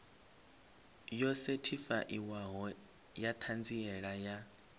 yo sethifaiwaho ya ṱhanziela ya